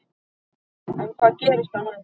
En hvað gerist þá næst?